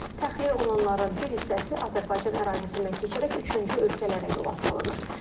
Təxliyə olunanların bir hissəsi Azərbaycan ərazisindən keçərək üçüncü ölkələrə yola salınır.